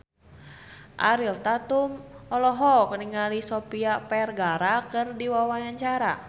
Ariel Tatum olohok ningali Sofia Vergara keur diwawancara